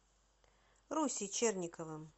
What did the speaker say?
русей черниковым